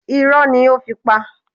Ìrọ̀rí ni ó fi pa á.